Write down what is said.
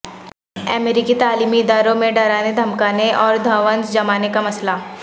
امریکی تعلیمی اداروں میں ڈرانے دھمکانے اور دھونس جمانے کا مسئلہ